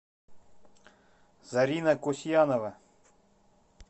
зарина кусьянова